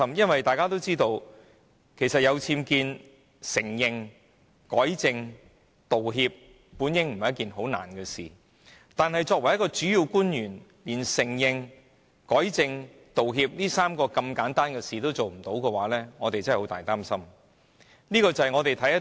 因為大家也知道，面對僭建事件，承認、改正和道歉並不是甚麼難事，但作為一名主要官員，連承認、改正和道歉這麼簡單的3件事也不能做到，委實令我們感到十分擔憂。